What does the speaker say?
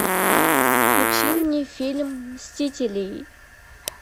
включи мне фильм мстители